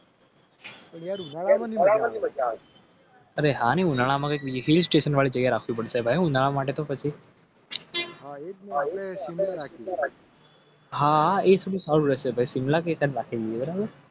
અરે હા. કે ભાઈ હું ના માટે તો પછી.